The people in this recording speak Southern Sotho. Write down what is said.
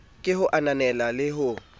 ke ho ananela le ho